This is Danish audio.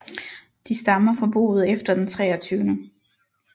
De stammer fra boet efter den 23